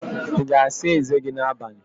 Ị ga-asa eze gị n'abalị?